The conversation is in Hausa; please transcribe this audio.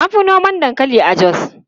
An fi noma dankali a Jos.